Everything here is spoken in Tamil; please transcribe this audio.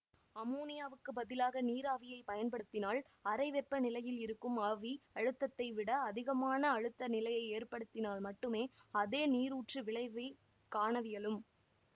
அமோனியாவுக்குப் பதிலாக நீராவியைப் பயன்படுத்தினால் அறை வெப்பநிலையில் இருக்கும் ஆவி அழுத்தத்தைவிட அதிகமான அழுத்த நிலையை ஏற்படுத்தினால் மட்டுமே அதே நீரூற்று விளைவைக் காணவியலும்